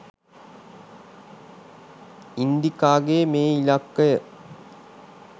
ඉන්දිකාගේ මේ ඉලක්කය?